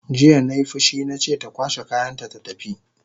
Jiya nai fushi nace ta kwashe kayanta ta tafi!